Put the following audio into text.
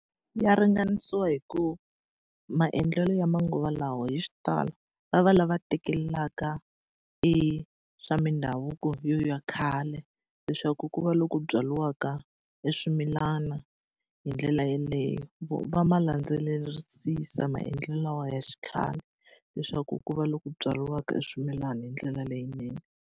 Ya ringanisiwa hi ku maendlelo ya manguva lawa hi xitalo va va lava tekelaka e swa mindhavuko ya khale, leswaku ku va loku byariwaka e swimilana hi ndlela yeleyo. va ma landzelerisisa maendlelo lawa ya xikhale leswaku ku va loku byariwaka swimilana hi ndlela leyinene.